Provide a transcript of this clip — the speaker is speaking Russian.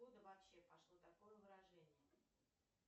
откуда вообще пошло такое выражение